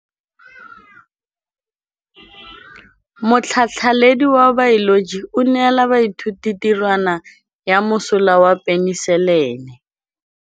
Motlhatlhaledi wa baeloji o neela baithuti tirwana ya mosola wa peniselene.